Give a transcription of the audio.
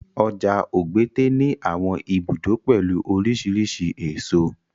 Ọjà Ogbete ní àwọn ibùdó pẹ̀lú oríṣiríṣi èso.